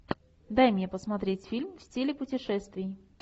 дай мне посмотреть фильм в стиле путешествий